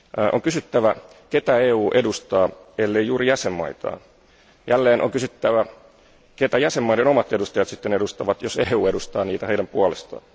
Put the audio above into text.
On kysyttävä, ketä EU edustaa, ellei juuri jäsenvaltioitaan? Jälleen on kysyttävä, ketä jäsenvaltioiden omat edustajat edustavat, jos EU edustaa niitä heidän puolestaan?